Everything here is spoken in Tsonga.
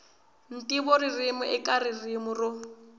ntivo ririmi eka ririmi ro